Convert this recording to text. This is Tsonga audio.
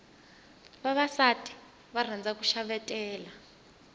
vavasati va rhandza ku xavetela